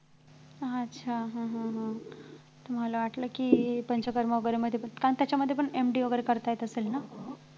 अच्छा हम्म हम्म हम्म मला वाटलं कि पंचकर्मा वैगेरे मध्ये पण कारण त्याच्यामध्ये पण MD वैगेरे करता येत असेल ना